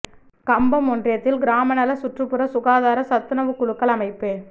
கம்பம் ஒன்றியத்தில் கிராம நல சுற்றுப்புற சுகாதார சத்துணவுக்குழுக்கள் அமைப்பு